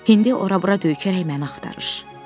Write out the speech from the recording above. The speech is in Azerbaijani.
İndi ora-bura döykərək məni axtarır.